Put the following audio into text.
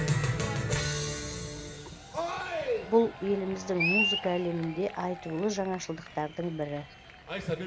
бұл еліміздің музыка әлемінде айтулы жаңашылдықтардың бірі